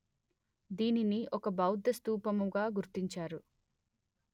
దీనిని ఒక బౌద్ధ స్థూపముగా గుర్తించారు